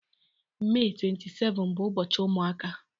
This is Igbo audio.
Mee 27 bụ ụbọchị ụmụaka